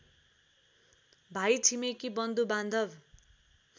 भाइ छिमेकी बन्धुबान्धव